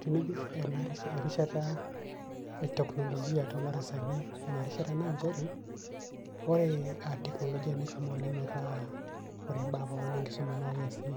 tenijur ena rishata ,teknologia too darasani ena rishata naa nchere, ore teknologia neshoo oleng metaa, ore ibaa pookin enkisuma naa keesi,